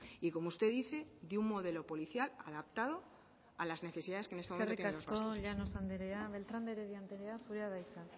y como usted dice de un modelo policial adaptado a las necesidades que en este momento tienen los vascos eskerrik asko llanos andrea beltrán de heredia andrea zurea da hitza